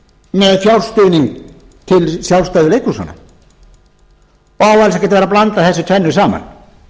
með fjárstuðning til sjálfstæðu leikhúsanna og á alls ekki vera að blanda þessu tvennu saman